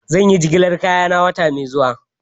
Zan yi jigilar kaya na wata mai zuwa